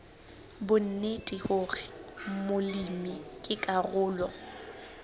bonnete hore molemi ke karolo